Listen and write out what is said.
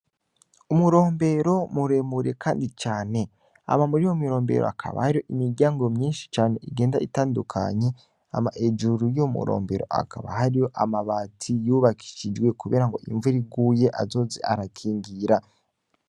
Umurombero mureremure kandi cane hama muriyo mirombero hakaba hari imiryango myishi cane igenda itandukanye hama hejuru yuwo murombero hakaba hariyo amabati yubakishijwe kubera ngo imvura iguye azoze arakingira.